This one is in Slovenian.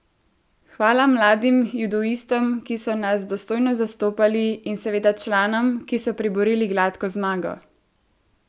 Hvala mladim judoistom, ki so nas dostojno zastopali, in seveda članom, ki so priborili gladko zmago.